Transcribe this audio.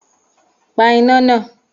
Pa iná nàá!